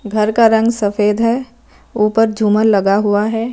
घर का रंग सफेद है ऊपर झूमर लगा हुआ है।